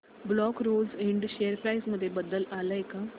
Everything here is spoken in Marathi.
black Rose Ind share price मध्ये बदल आलाय का